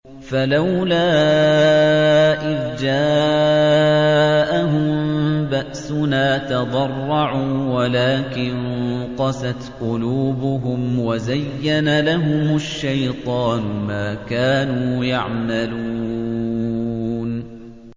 فَلَوْلَا إِذْ جَاءَهُم بَأْسُنَا تَضَرَّعُوا وَلَٰكِن قَسَتْ قُلُوبُهُمْ وَزَيَّنَ لَهُمُ الشَّيْطَانُ مَا كَانُوا يَعْمَلُونَ